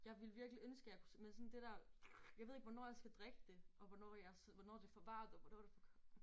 Jeg ville virkelig ønske jeg at kunne men sådan det dér jeg ved ikke hvornår jeg skal drikke det og hvornår jeg hvornår det for varmt og hvornår det for koldt